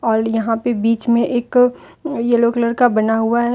और यहाँ पे बीच में एक येलो कलर का बना हुआ है।